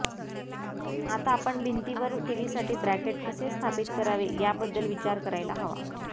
आता आपण भिंतीवर टीव्हीसाठी ब्रॅकेट कसे स्थापित करावे याबद्दल विचार करायला हवा